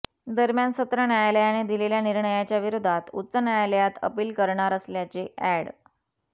दरम्यान सत्र न्यायालयाने दिलेल्या निर्णयाच्या विरोधात उच्च न्यायालयात अपील करणार असल्याचे ऍड